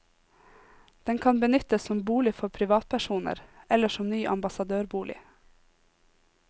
Den kan benyttes som bolig for privatpersoner eller som ny ambassadørbolig.